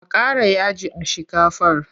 A ƙara yaji a shikafar.